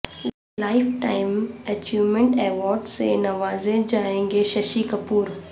life time achievement award سے نوازے جائیں گے ششی کپور